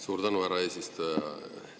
Suur tänu, härra eesistuja!